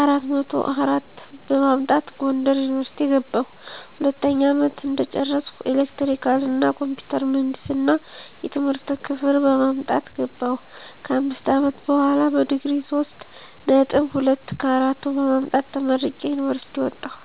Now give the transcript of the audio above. አራት መቶ አራት በማምጣት ጎንደር ዩኒቨርሲቲ ገባሁ። ሁለተኛ አመት እንደጨረስኩ ኤሌክትሪካል እና ኮምፒውተር ምህንድስና የትምህርት ክፍል በመምረጥ ገባሁ። ከአምስት አመት በሆላ በዲግሪ ሶስት ነጥብ ሁለት ከአራቱ በማምጣት ተመርቄ ከዩኒቨርሲቲ ወጣሁ።